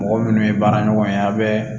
Mɔgɔ minnu ye baara ɲɔgɔn ye a bɛ